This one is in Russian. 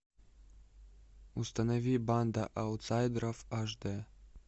установи банда аутсайдеров аш дэ